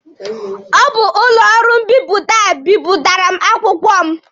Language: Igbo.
Ọ bụ ụlọ ọrụ mbipụta a bipụtara m akwụkwọ m.